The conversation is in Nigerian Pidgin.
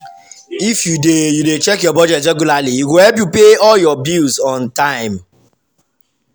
if you dey you dey check your budget regularly e go help you pay all your bills on time.